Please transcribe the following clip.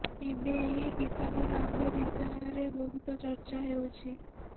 ଏବେ ଏହି କିସମର ଆମ୍ବ ବିଷୟରେ ବହୁତ ଚର୍ଚ୍ଚା ହେଉଛି